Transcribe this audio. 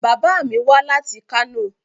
Bàbá mi wá láti Kano.